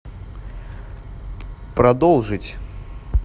продолжить